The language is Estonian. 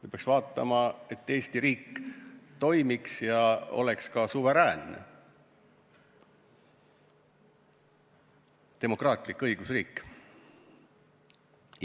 Me peame vaatama, et Eesti riik toimiks ja oleks ka suveräänne demokraatlik õigusriik.